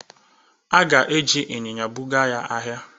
A ga-eji ịnyịnya buga ya ahịa.